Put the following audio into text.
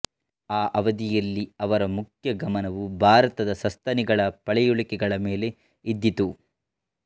ಆ ಅವಧಿಯಲ್ಲಿ ಅವರ ಮುಖ್ಯ ಗಮನವು ಭಾರತದ ಸಸ್ತನಿಗಳ ಪಳೆಯುಳಿಕೆಗಳ ಮೇಲೆ ಇದ್ದಿತು